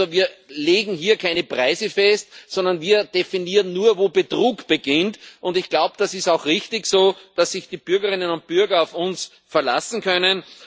Also wir legen hier keine Preise fest, sondern wir definieren nur, wo Betrug beginnt, und ich glaube, das ist auch richtig so, dass sich die Bürgerinnen und Bürger auf uns verlassen können.